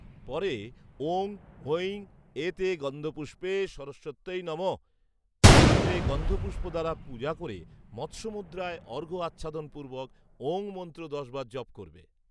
পরে ‘ওঁ ঐং এতে গন্ধপুষ্পে সরস্বত্যৈ নমঃ’ মন্ত্রে গন্ধপুষ্প দ্বারা পূজা করে মৎস্যমুদ্রায় অর্ঘ্য আচ্ছাদনপূর্বক ‘ওঁ’ মন্ত্র দশবার জপ করবে